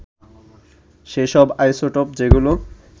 সেসব আইসোটোপ যেগুলো